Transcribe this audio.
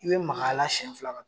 I be maka a la siɲɛ fila